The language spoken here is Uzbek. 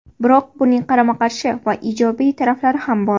Biroq buning qarama-qarshi va ijobiy tarafi ham bor.